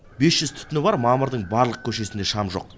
бес жүз түтіні бар мамырдың барлық көшесінде шам жоқ